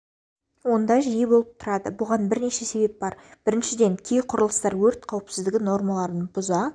онда жиі болып тұрады бұған бірнеше себеп бар біріншіден кей құрылыстар өрт қауіпсіздігі нормаларын бұза